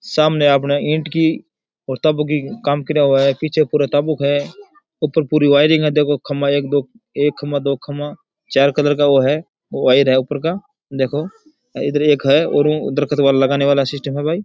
सामने अपने ईट की का काम करेया हुआ है पीछे पूरा है ऊपर पूरी वायरिंग है देखो खम्बा एक दो एक खम्भा दो खम्भा चार कलर का वो है वायर है ऊपर का देखो इधर ही एक है और देखो उधर लगाने वाला सिस्टम है भाई।